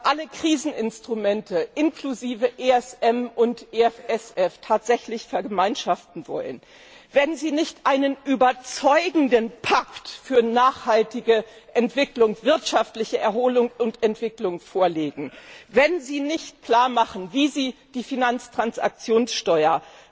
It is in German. alle Kriseninstrumente inklusive ESM und EFSF tatsächlich vergemeinschaften wollen, wenn Sie nicht einen überzeugenden Pakt für nachhaltige wirtschaftliche Erholung und Entwicklung vorlegen, wenn Sie nicht klarmachen, wie Sie die Finanztransaktionssteuer